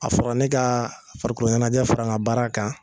A fɔra ne ka farikoloɲɛnajɛ fara n ka baara kan,